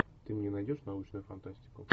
ты мне найдешь научную фантастику